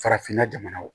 Farafinna jamana